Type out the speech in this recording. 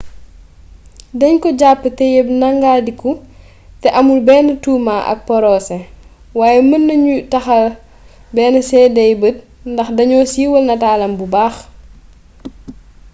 dañ ko jàpp teyeb neggandiku te amul benn tuuma ak porosé waaye mën nañu taxal benn séedey gët ndax dañoo siiwal nataalam bu baax